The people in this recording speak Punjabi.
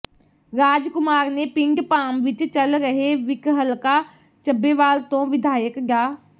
ਰਾਜ ਕੁਮਾਰ ਨੇ ਪਿੰਡ ਭਾਮ ਵਿੱਚ ਚੱਲ ਰਹੇ ਵਿਕਹਲਕਾ ਚੱਬੇਵਾਲ ਤੋਂ ਵਿਧਾਇਕ ਡਾ